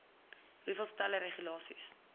hoeveel stelle regulasies